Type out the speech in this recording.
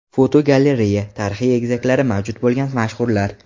Fotogalereya: Tarixiy egizaklari mavjud bo‘lgan mashhurlar.